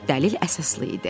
Dəlil əsaslı idi.